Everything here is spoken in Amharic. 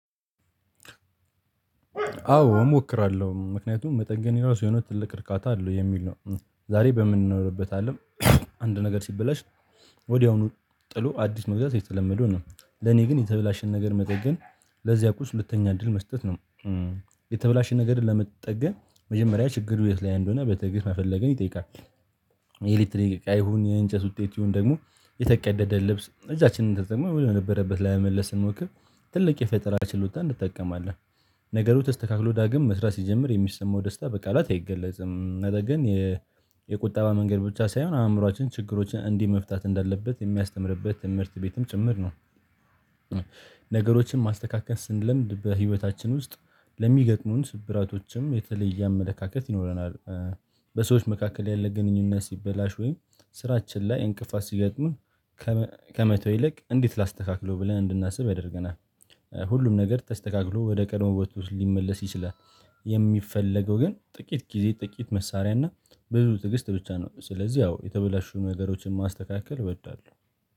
አዎ እሞክራለሁ ምክንያቱም መጠገኔ የራሱ የሆነ ትልቅ እርካታ አለው የሚል ነው። ዛሬ በምንኖርበት አለም። አንድ ነገር ሲበላሽ ወዲያውኑ ጥሎ አዲስ መግዛት የተለመደው ነው። ለኔ ግን የተበላሸን ነገር መጠገን ለዚያ ቁስ ሁለተኛ እድል መስጠት ነው። የተበላሸን ነገርን ለመጠገን መጀመሪያ ችግሩ የት ላይ እንደሆነ በትግስት መፈለግን ይጠይቃል። የኤሌክትሪክ እቃ ይሁን የእንጨት ውጤት ይሁን ደግሞ የተቀደደ ልብስ እጃችንን ተጠቅሞ ወደ ነበረበት ላይ ለመመለስ ስንሞክር ትልቅ የፈጠራ ችሎታ እንጠቀማለን። ነገሩ ተስተካክሎ ዳግም መስራት ሲጀምር የሚሰማው ደስታ በቃላት አይገለጽም ነገር ግን። የቁጠባ መንገድ ብቻ ሳይሆን አእምሮአችን ችግሮችን እንዲህ መፍታት እንዳለበት የሚያስተምርበት ትምህርት ቤትም ጭምር ነው። ነገሮችን ማስተካከል ስንለምድ በህይወታችን ውስጥ ለሚገጥሙን ስብራቶችም የተለየ አመለካከት ይኖረናል። በሰዎች መካከል ያለ ግንኙነት ሲበላሽ ወይም ስራችን ላይ እንቅፋት ሲገጥምህ ከመተው ይልቅ እንዴት ላስተካክለው ብለን እንድናስብ ያደርገናል። ሁሉም ነገር ተስተካክሎ ወደ ቀድሞ ቦታ ውበቱ ሊመለስ ይችላል። የሚፈለገው ግን ጥቂት ጊዜ ጥቂት መሳሪያ እና ብዙ ትግስት ብቻ ነው ስለዚህ ያው የተበላሹ ነገሮችን ማስተካከል እወዳለሁ